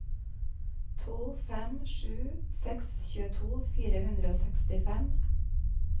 to fem sju seks tjueto fire hundre og sekstifem